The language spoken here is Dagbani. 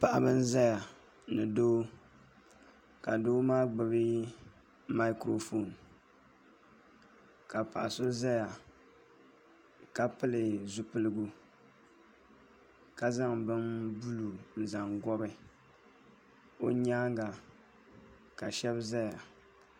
Paɣaba n ʒɛya ni doo ka doo maa gbuno maikiro foon ka paɣa so ʒɛya ka pili zipiligu ka zaŋ bini buluu n zaŋ gobi o nyaanga ka shab ʒɛya